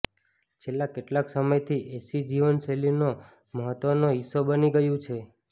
છેલ્લા કેટલાક સમયથી એસી જીવનશૈલીનો મહત્વનો હિસ્સો બની ગયું છે